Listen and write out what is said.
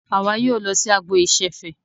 Àwa yóò lọ sí agbo ìṣẹ̀fẹ̀.